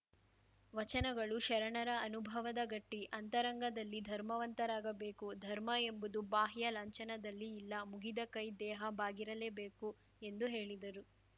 ವಚನಗಳು ಶರಣರ ಅನುಭಾವದ ಗಟ್ಟಿ ಅಂತರಂಗದಲ್ಲಿ ಧರ್ಮವಂತರಾಗಬೇಕು ಧರ್ಮ ಎಂಬುದು ಬಾಹ್ಯ ಲಾಂಚನದಲ್ಲಿ ಇಲ್ಲ ಮುಗಿದ ಕೈ ದೇಹ ಬಾಗಿರಲೇಬೇಕು ಎಂದು ಹೇಳಿದರು